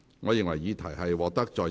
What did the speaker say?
我宣布議案獲得通過。